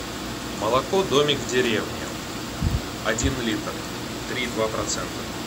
молоко домик в деревне один литр три и два процента